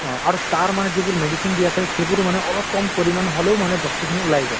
অহ আৰু তাৰ মানে যিটো medicine দিয়া থাকে সেইবোৰো মানে অলপ কম পৰিমান হলেও মানে বস্তু খিনি ওলাই যায়।